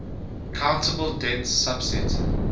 countable dense subset